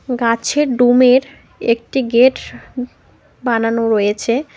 গাছের ডোমের একটি গেট বানানো রয়েছে।